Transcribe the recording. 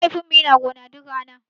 Mahaifin mu yana gona duk rana.